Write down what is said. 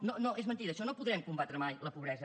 no és mentida això no podrem combatre mai la pobresa